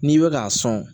N'i bɛ k'a sɔn